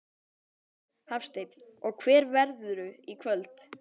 Hafsteinn: Og hver verðurðu í kvöld?